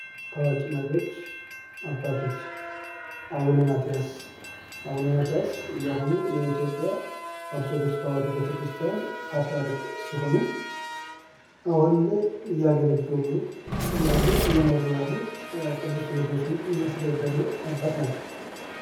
ታዋቂ መሪዎች አባቶች አቡነ ማትያስ አቡነ ማትያስ የአሁኑ የኢትዮጵያ ኦርቶዶክስ ተዋህዶ ቤተክርስትያን ፓትርያርክ ሲሆኑ አሁን ላይ እያገለገሉ ያሉ እየመሩ ያሉ ቅዱስ ሲኖዶስን እያስተዳደሩ ያሉ አባት ናቸው።